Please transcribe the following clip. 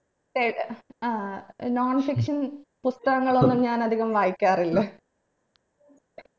ഏർ non fiction പുസ്തകങ്ങളൊന്നും ഞാൻ അധികം വായിക്കാറില്ല